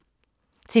TV 2